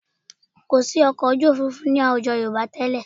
Kò sí ọkọ̀ ojú òfuurufú ní àwùjọ Yorùbá tẹ́lẹ̀